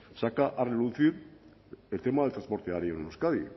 saca a relucir el tema del transporte aéreo en euskadi